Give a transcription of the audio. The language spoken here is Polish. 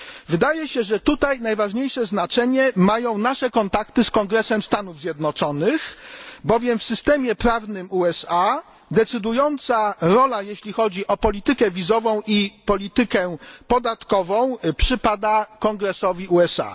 Wydaje się, że tutaj najważniejsze znaczenie mają nasze kontakty z Kongresem Stanów Zjednoczonych, bowiem w systemie prawnym USA decydująca rola w polityce wizowej i polityce podatkowej, przypada Kongresowi USA.